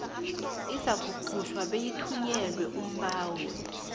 izakukhutjhwa beyithunyelelwe umbawi